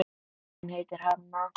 Hún heitir Hanna.